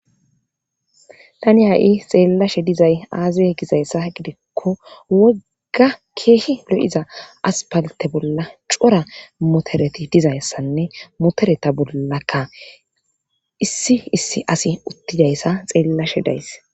tani ha7i xeellashe dizay aazaye gizayssa gidikko wogga keehi lo7iza aspalte bolla cora motereti dizayssanne motereta bollakka issi issi asi uttidayssa xeellashe days